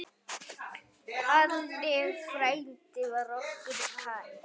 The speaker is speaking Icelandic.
Halli frændi var okkur kær.